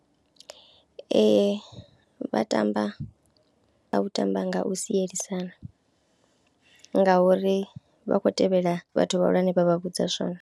Ee vha tamba nga u tamba nga u sielisana ngauri vha khou tevhela vhathu vhahulwane vha vha vhudza zwone.